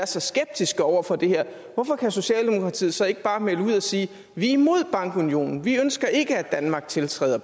så skeptiske over for det her hvorfor kan socialdemokratiet så ikke bare melde ud og sige vi er imod eus bankunion vi ønsker ikke at danmark tiltræder